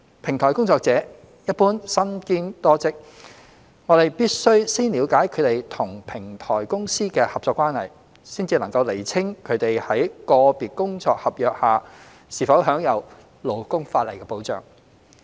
平台工作者一般身兼多職，我們必須先了解他們與平台公司的合作關係，才能釐清他們在個別工作合約下是否享有勞工法例的保障。